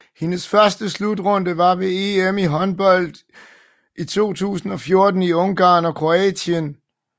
Hendes første slutrunde var ved EM i håndbold 2014 i Ungarn og Kroatien